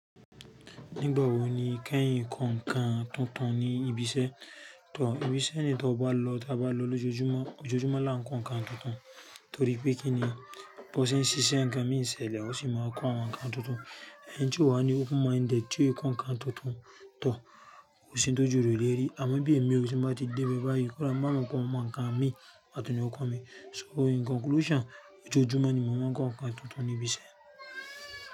Nígbà wo ni kẹ́yìn n kan nǹkan tuntun ní ibi iṣẹ́? Tóh ibi iṣẹ́ yi tó bá lọ t'a bá lọ lójoojúmọ́, ojoojúmọ́ la ń ko nǹkan tuntun. Torí pé kí ni? Bo ṣe ń ṣiṣẹ́ gan míi n sẹlẹ̀, ó sì máa ń ko awọn nǹkan tuntun. Ẹni tí ó wà ní open minded, tí ó ko nǹkan tuntun, toh ko sì ń tojú rẹ̀ o lé rí. Àmọ́ bí èmi ò sì máa ti dé dé báa yi, kò dáa mọ̀ lọ́ kàn ọmọ nǹkan mi àti oníwọ̀n mi. So in conclusion, ojoojúmọ́ ni mo máa ń kàn nǹkan tuntun ní ibi iṣẹ́.